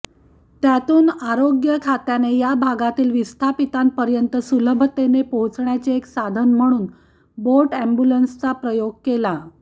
त्यातून आरोग्य खात्याने या भागातील विस्थापितांपर्यंत सुलभतेने पोहोचण्याचे एक साधन म्हणून बोट अॅम्ब्युलन्सचा प्रयोग केला